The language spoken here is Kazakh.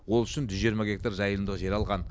ол үшін жүз жиырма гектар жайылымдық жер алған